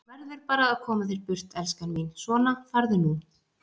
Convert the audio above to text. Þú verður bara að koma þér burt, elskan mín, svona, farðu nú.